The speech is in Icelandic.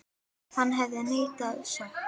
Hann hefur neitað sök.